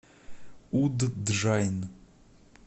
удджайн